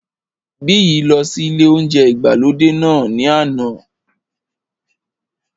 Biyi lọ sí ilé óúnjẹ ìgbàlódé náà ní àná